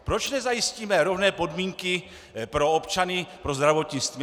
Proč nezajistíme rovné podmínky pro občany, pro zdravotnictví?